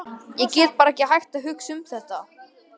Ég get bara ekki hætt að hugsa um þetta.